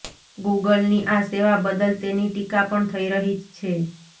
ગુગલની આ સેવા બદલ તેની ટીકા પણ થઈ રહી છે